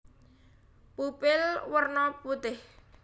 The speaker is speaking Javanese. Pupil werna putih